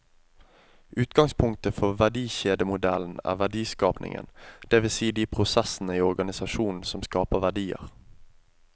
Utgangspunktet for verdikjedemodellen er verdiskapingen, det vil si de prosessene i organisasjonen som skaper verdier.